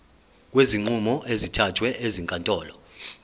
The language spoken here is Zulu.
kwezinqumo ezithathwe ezinkantolo